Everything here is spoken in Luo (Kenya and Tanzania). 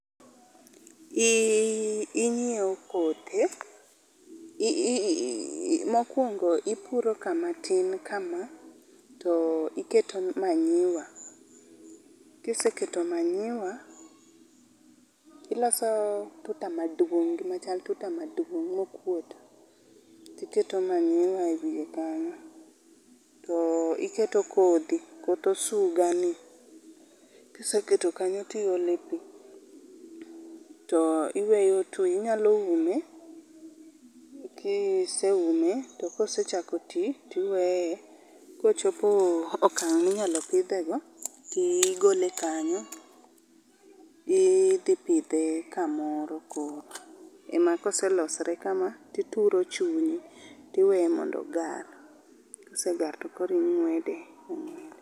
Iii, inyiew kothe, mokuongo ipuro kama tin kama to iketo manyuwa, kiseketo manyiwa, iloso tuta maduong, gima chal tuta maduong mokuot tiketo manywa e wiye kanyo tiketo kodhi, koth osuga ni, kiseket o kanyo tiole pii. To iweyo twe, to inyalo ume, kiseume kosechako tii tiweye, kosechopo e okang minyalo pidhe go tigole kanyo tidhi pidhe kamoro koro ema ka oselosore kama tituro chunye tiweye mondo ogar, kosegar tokoro ingwede